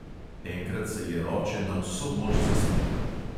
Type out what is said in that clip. Enkrat se je oče na vso moč zasmejal.